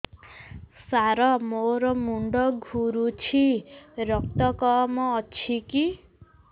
ସାର ମୋର ମୁଣ୍ଡ ଘୁରୁଛି ରକ୍ତ କମ ଅଛି କି